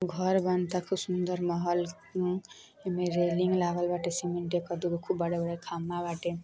घर बनता खूब सुंदर महल उम्म में रेलिंग लागल बाटे सीमेंट एगो दुगो खूब बड़ा-बड़ा खंभा बाटे।